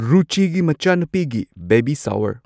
ꯔꯨꯆꯤꯒꯤ ꯃꯆꯥꯅꯨꯄꯤꯒꯤ baby shower